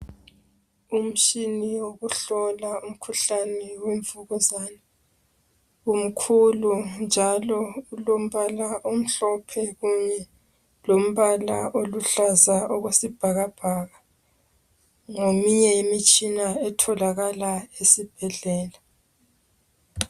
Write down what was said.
Umtshina wokuhlola umkhuhlane wemvukuzane umkhulu njalo ulombala omhlophe lombala oluhlaza okwesibhakabhaka ngeminye yemitshina etholakala esibhedlela.